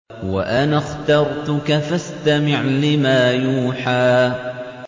وَأَنَا اخْتَرْتُكَ فَاسْتَمِعْ لِمَا يُوحَىٰ